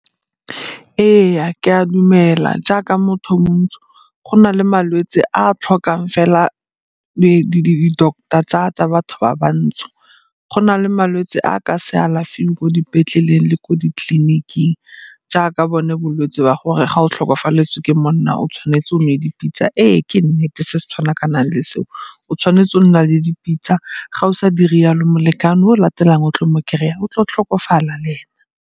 Ee, ke a dumela jaaka motho o montsho go na le malwetse a a tlhokang fela di-doctor tsa batho ba bantsho. Go na le malwetsi a a ka se alafiweng ko dipetleleng le ko ditleliniking jaaka bone bolwetsi ba gore ga o tlhokafaletswe ke monna o tshwanetse o nwe dipitsa. Ee, ke nnete se se tshwana ka nang le seo, o tshwanetse go nna le dipitsa, ga o sa dire yalo molekane o o latelang o o tla mo kry-a o tlo tlhokofalela le ena.